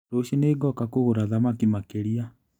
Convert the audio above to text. Rũciũ nĩngoka kũgũra thamaki makĩria.